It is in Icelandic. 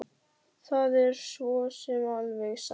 Það er svo sem alveg satt